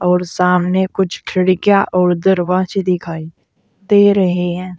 और सामने कुछ खिड़कियां और दरवाजे दिखाई दे रहे हैं।